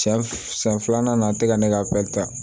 Sɛ siɲɛ filanan na a tɛ ka ne ka ta